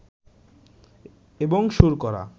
এবং সুর করা